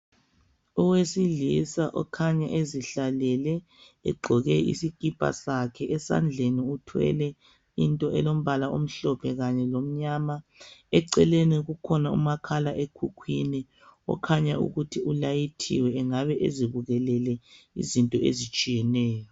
owesilisa okhanya ezihlalele egqoke isikipa sakhe esandleni uthwele into elombala mhlophe kanye lomnyama eceleni kukhona umakhala ekhukhwini okhanya ukuthi ulayithiwe engabe ezibukelele izinto ezitshiyeneyo